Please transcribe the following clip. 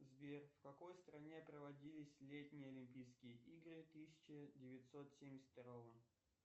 сбер в какой стране проводились летние олимпийские игры тысяча девятьсот семьдесят второго